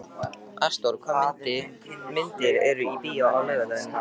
Ástþór, hvaða myndir eru í bíó á laugardaginn?